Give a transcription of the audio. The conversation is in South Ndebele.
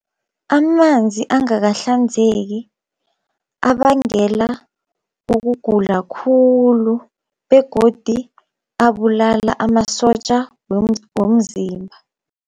Amanzi angakahlanzeki abangela ukugula khulu, begodi abulala amasotja womzimba.